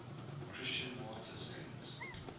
christian martyr saints